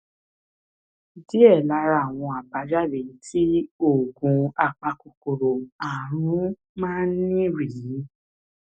díẹ lára àwọn àbájáde tí oògùn apakòkòrò ààrùn máa ń ní rèé